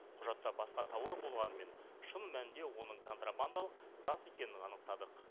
құжатта басқа тауар болғанымен шын мәнінде оның контрабандалық зат екенін анықтадық